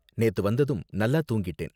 நேத்து வந்ததும் நல்லா தூங்கிட்டேன்.